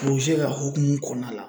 ka hukumu kɔnɔna la